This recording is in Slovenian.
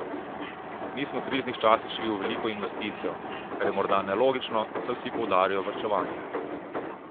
Mi smo v kriznih časih šli v veliko investicijo, kar je morda nelogično, saj vsi poudarjajo varčevanje.